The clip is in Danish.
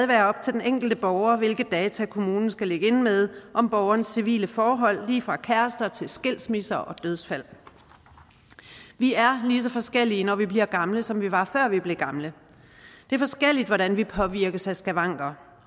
være op til den enkelte borger hvilke data kommunen skal ligge inde med om borgerens civile forhold lige fra kærester til skilsmisse og dødsfald vi er lige så forskellige når vi bliver gamle som vi var før vi blev gamle det er forskelligt hvordan vi påvirkes af skavanker